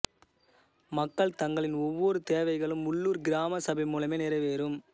மக்கள் தங்களின் ஒவ்வொரு தேவைகளும் உள்ளுர் கிராம சபை மூலமே நிறைவேறும்